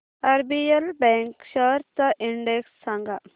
RBL bank shares चा index सांगा